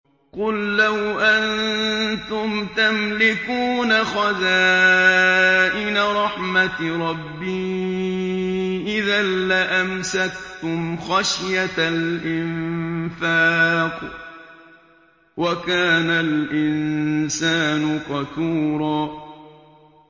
قُل لَّوْ أَنتُمْ تَمْلِكُونَ خَزَائِنَ رَحْمَةِ رَبِّي إِذًا لَّأَمْسَكْتُمْ خَشْيَةَ الْإِنفَاقِ ۚ وَكَانَ الْإِنسَانُ قَتُورًا